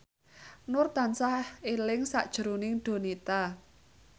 Nur tansah eling sakjroning Donita